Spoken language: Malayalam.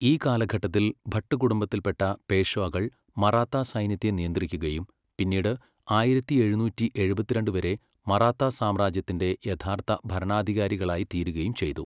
ഈ കാലഘട്ടത്തിൽ, ഭട്ട് കുടുംബത്തിൽപ്പെട്ട പേഷ്വാകൾ മറാത്താസൈന്യത്തെ നിയന്ത്രിക്കുകയും, പിന്നീട് ആയിരത്തി എഴുന്നൂറ്റി എഴുപത്തിരണ്ട് വരെ മറാത്താ സാമ്രാജ്യത്തിൻ്റെ യഥാർത്ഥ ഭരണാധികാരികളായിത്തീരുകയും ചെയ്തു.